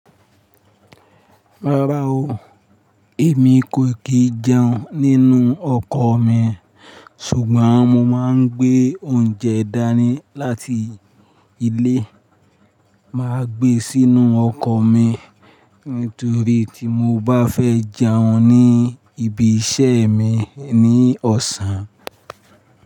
Rárá o, èmi kò kì í jẹun nínú ọkọ̀ mi, ṣùgbọ́n mo máa ń gbé oúnjẹ dání láti ilé, màá gbé sínú ọkọ̀ mi nítorí tí mo bá fẹ́ jẹun ní ibi iṣẹ́ mi ní ọ̀sán.